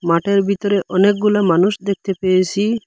মাঠের ভিতরে অনেকগুলা মানুষ দেখতে পেয়েসি।